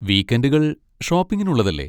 വീക്കെൻഡുകൾ ഷോപ്പിങ്ങിനുള്ളതല്ലേ?